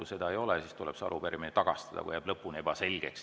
Kui seda ei ole, siis tuleb see arupärimine tagastada või see jääb lõpuni ebaselgeks.